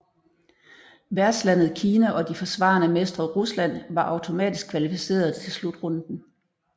Værtslandet Kina og de forsvarende mestre Rusland var automatisk kvalificeret til slutrunden